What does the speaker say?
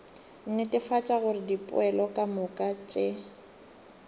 netefatša gore dipoelo kamoka tše